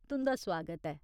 तुं'दा सुआगत ऐ।